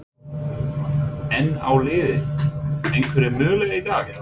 En á liðið einhverja möguleika í dag?